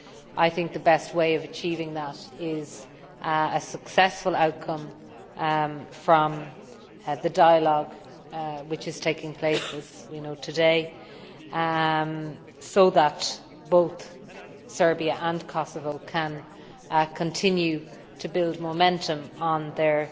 I think the best way of achieving that is a successful outcome from the dialogue which is taking place, as we know, today, so that both Serbia and Kosovo can continue to build momentum on their